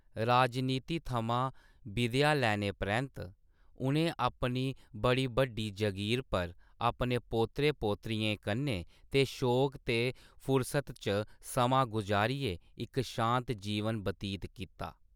राजनीति थमां बिदेआ लैने परैंत्त, उ'नें अपनी बड़ी बड्डी जगीर पर, अपने पोतरे-पोतरियें कन्नै ते शौक ते फुरसत च समां गुजारियै इक शांत जीवन बतीत कीता।